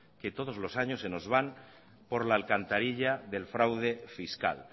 que todos los años se nos van por la alcantarilla del fraude fiscal